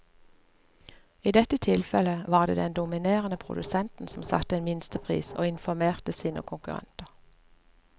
I dette tilfellet var det den dominerende produsenten som satte en minstepris og informerte sine konkurrenter.